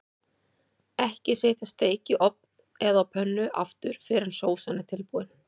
Ekki setja steik í ofn eða á pönnu aftur fyrr en sósan er tilbúin.